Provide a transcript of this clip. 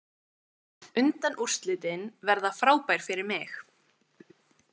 Undanúrslitin verða frábær fyrir mig.